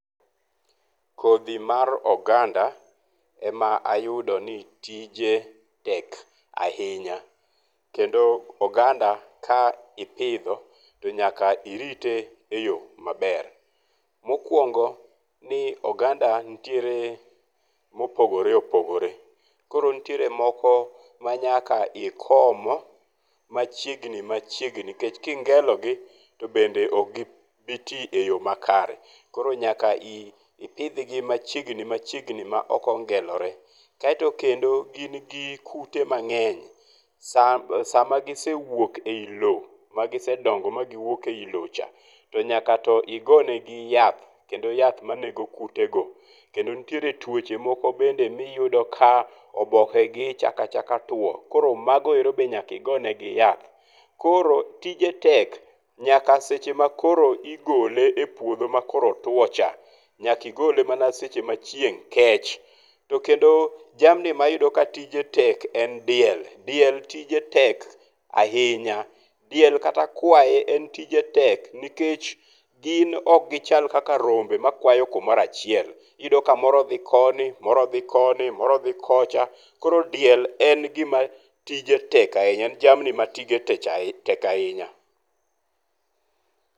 Kodhi mar oganda, ema ayudo ni tije tek ahinya. Kendo oganda ka ipidho to nyaka irite e yo maber. Mokwongo ni oganda nitiere mopogore opogore. Koro nitiere moko ma nyaka ikom machiegni machiegni nikech kingelogi to bende ok gi bi ti e yo makare. Koro nyaka ipidhgi machiegni machiegni ma ok ongelore. Kaeto kendo gin gi kute mang'eny. Sa sama gisewuok eyi lo magisedongo ma giwuok e yi lo cha to nyaka to igo negi yath kendo yath manego kute go. Kendo nitiere tuoche moko bende miyudo ka oboke gi chako achaka tuo. Koro magoero bende nyaka igo ne gi yath. Koro tije tek. Nyaka seche ma koro igole e puodho makoro otuo cha, nyaka igole mana seche ma chieng' kech. To kendo jamni ma iyudo ka tije tek en diel. Diel tije tek ahinya. Diel kata kwaye en tije tek nikech gin ok gichal kaka rombe makwayo kumoro achiel. Iyudo ka moro odhi koni, moro odhi koni to moro odhi kocha, koro diel en gima tije tek ahinya en jamni matije tek ahinya.